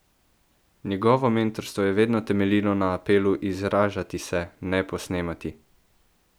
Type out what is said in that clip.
Njegovo mentorstvo je vedno temeljilo na apelu Izražati se, ne posnemati!